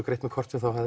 greitt með korti